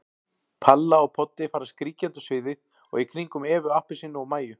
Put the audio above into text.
Palla og Poddi fara skríkjandi um sviðið og í kringum Evu appelsínu og Mæju.